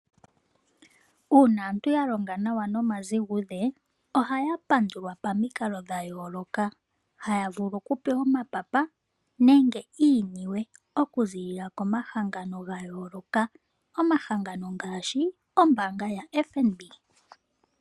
Uuna aantu ya longa nawa noma zigudhe ohaya pandulwa pamikalo dha yooloka, haya vulu oku pewa omapapa nenge iiniwe oku ziilila komahangano ga yooloka, omahangano ngaashi ombaanga ya FNB